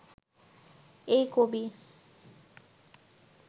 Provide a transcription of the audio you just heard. এই কবি